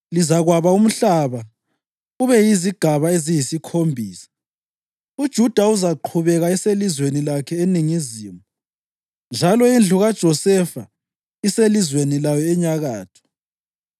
Lizakwaba umhlaba ube yizigaba eziyisikhombisa. UJuda uzaqhubeka eselizweni lakhe eningizimu njalo indlu kaJosefa iselizweni layo enyakatho.